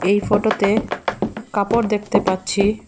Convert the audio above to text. এই ফটোতে কাপড় দেখতে পাচ্ছি।